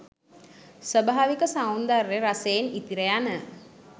ස්වාභාවික සෞන්දර්ය රසයෙන් ඉතිර යන